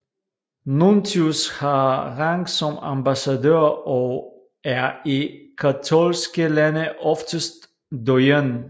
Nuntius har rang som ambassadør og er i katolske lande oftest doyen